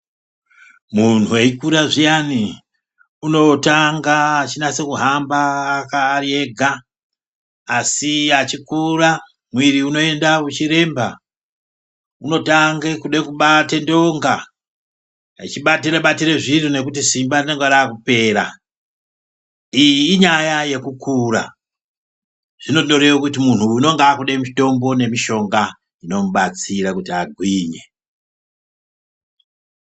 Munhu ekura zviyani unotanga echinasa kuhamba ari ega, asi echikura mwiri unoenda uchiremba. Unotange kuda kubata ndonga, echibatira batira zviro nekuti simba rinenge raakupera. Iyi inyaya yekukura, zvinondoreva kuti muntu anenge akutoda mitombo nemushonga zvinomubatsira kuti agwinye.